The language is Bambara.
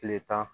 Kile tan